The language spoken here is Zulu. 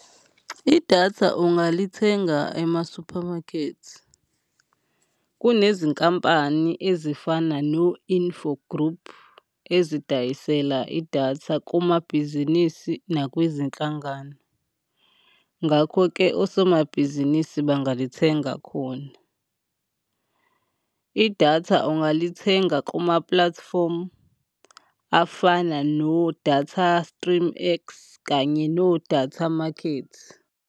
Idatha ungalithenga ema-supermarket. Kunezinkampani ezifana no-Infogroup, ezidayisela idatha kumabhizinisi nakwizinhlangano, ngakho-ke osomabhizinisi bangalithenga khona. Idatha ungalithenga kuma-platform afana no-DataStreamX kanye no-DataMarket.